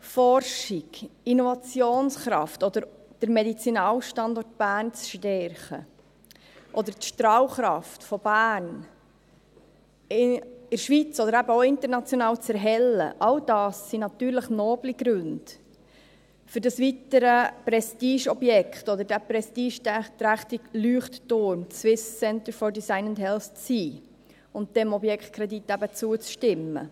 Forschung, Innovationskraft oder den Medizinalstandort Bern zu stärken, die Strahlkraft von Bern in der Schweiz oder eben auch international zu erhellen, all dies sind noble Gründe für das weitere Prestigeobjekt oder für den prestigeträchtige Leuchtturm SCDH und dafür, dem Objektkredit zuzustimmen.